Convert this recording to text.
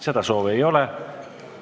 Seda soovi ei ole.